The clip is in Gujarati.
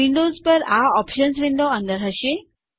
વિન્ડોઝ પર આ ઓપ્શન્સ વિન્ડો અંદર હશે